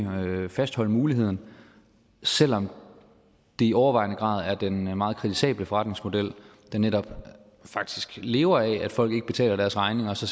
fastholde muligheden selv om det i overvejende grad er en meget kritisabel forretningsmodel der netop faktisk lever af at folk ikke betaler deres regninger så